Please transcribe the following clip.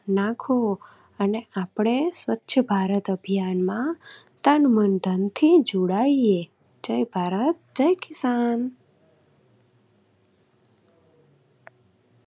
નાખવો અને આપણે સ્વચ્છ ભારત અભિયાનમાં તન, મન, ધનથી જોડાઈયે. જય ભારત જય કિસાન.